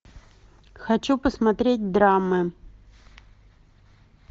хочу посмотреть драмы